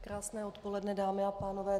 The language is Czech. Krásné odpoledne, dámy a pánové.